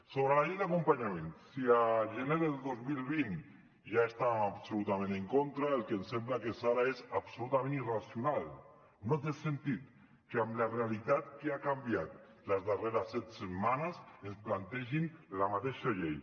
sobre la llei d’acompanyament si a gener del dos mil vint ja estàvem absolutament en contra el que ens sembla que és ara és absolutament irracional no té sentit que amb la realitat que ha canviat les darreres set setmanes ens plantegin la mateixa llei